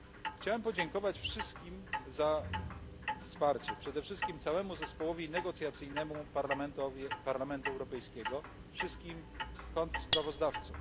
Chciałem podziękować wszystkim za wsparcie, przede wszystkim całemu zespołowi negocjacyjnemu Parlamentu Europejskiego, wszystkim kontrsprawozdawcom.